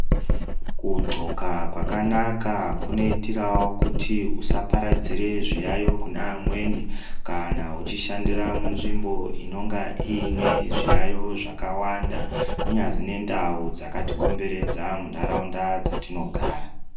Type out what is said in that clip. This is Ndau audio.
Kugqoka kwakanaka kunoitirawo kuti usaparadzire zviyaiyo kune amweni kana uchishandira munzvimbo inonga iine zviyaiyo zvakawanda, kunyazwi nendau dzakatikomberedza muntaraunda dzatinogara.